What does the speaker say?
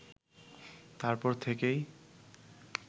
তারপর থেকেই